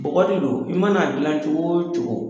Bɔgɔ de don. I man'a dilan cogo o cogo